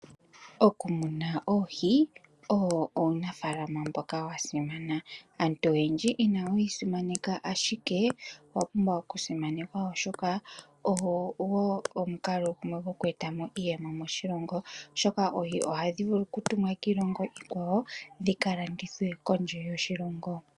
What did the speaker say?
Okumuna oohi owo uunafalama mbika wa simana aantu oyendji inaye wu simaneka ashike owa pumbwa okusimanekwa opwe etwa po wo omukalo gumwe gwoku etamo iiyemo moshilongo oshoka oohi ohadhi vulu ku tumwa kiilongo iikwawo dhika landithwe kondje yoshilongo.